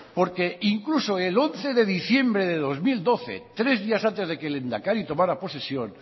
porque incluso el once de diciembre de dos mil doce tres días antes de que el lehendakari tomara posesión